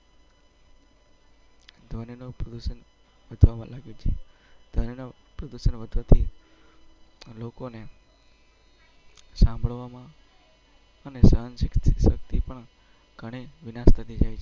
ડોના પ્રો. સાંભળવામાં. અને નું.